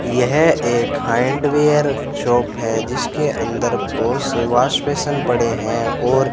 यह एक hardware shop है जिसके अंदर बहुत से वॉश बेसिन पड़े हैं और --